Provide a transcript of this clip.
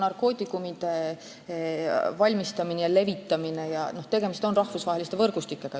Narkootikumide valmistamise ja levitamise puhul on ju tegemist rahvusvaheliste võrgustikega.